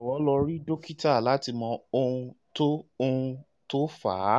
jọ̀wọ́ lọ rí dókítà láti mọ ohun tó ohun tó fà á